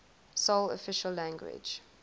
sole official language